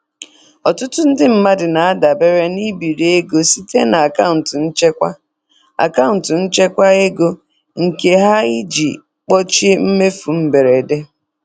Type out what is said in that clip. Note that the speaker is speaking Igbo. Ọtụtụ ndị mmadụ na-adabere na ibiri ego site na akaụntụ nchekwa akaụntụ nchekwa ego nke ha iji kpuchie mmefu mberede.